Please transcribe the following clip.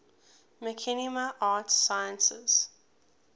machinima arts sciences